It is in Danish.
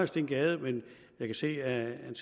steen gade men jeg kan se at han